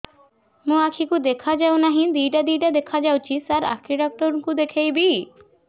ମୋ ଆଖିକୁ ଦେଖା ଯାଉ ନାହିଁ ଦିଇଟା ଦିଇଟା ଦେଖା ଯାଉଛି ସାର୍ ଆଖି ଡକ୍ଟର କୁ ଦେଖାଇବି